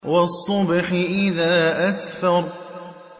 وَالصُّبْحِ إِذَا أَسْفَرَ